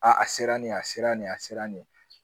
A a sera nin a sera nin ye a sera nin ye